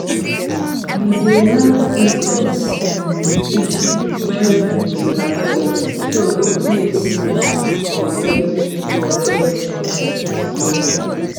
we dey light incense um stick when we dey harvest so the place um go get correct um smell.